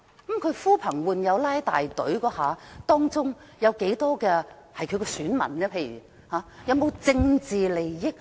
但他呼朋喚友拉大隊，當中多少人是他的選民，又有否涉及政治利益？